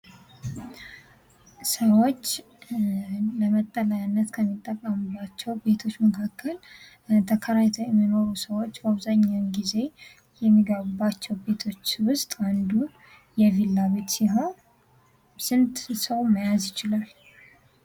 ሰዎች ለመጠለያነት ከሚጠቀሙባቸው ቤቶች መካከል ተከራይተው የሚኖሩ ሰዎች ብዙውን ጊዜ የሚኖሩባቸው ቤቶች ውስጥ አንዱ የቪላ ቤት ሲሆን ስንት ሰው መያዝ ይችላል?